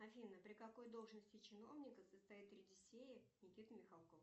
афина при какой должности чиновника состоит никита михалков